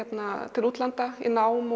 til útlanda í nám